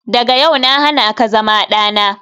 Daga yau na hana ka zama dana.